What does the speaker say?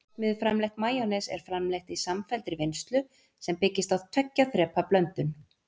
Verksmiðjuframleitt majónes er framleitt í samfelldri vinnslu sem byggist á tveggja þrepa blöndun.